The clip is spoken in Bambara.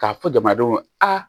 K'a fɔ jamanadenw a